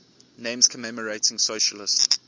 names commemorating socialist